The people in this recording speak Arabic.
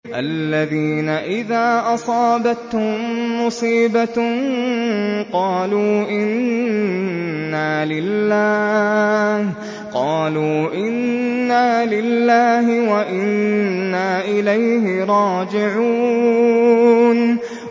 الَّذِينَ إِذَا أَصَابَتْهُم مُّصِيبَةٌ قَالُوا إِنَّا لِلَّهِ وَإِنَّا إِلَيْهِ رَاجِعُونَ